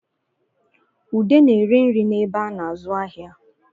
Ude na-ere nri n'ebe a na-azụ ahịa